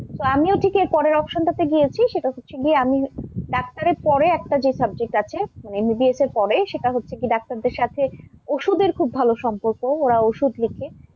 তো আমিও ঠিক এর পরের option টা তে গিয়েছি, সেটা হচ্ছে গিয়ে আমি ডাক্তারের পরে একটা যে subject আছে MBBS এর পরে সেটা হচ্ছে কি ডাক্তারের সাথে ওষুধের খুব ভাল সম্পর্ক ওরা ওষুধ লেখে,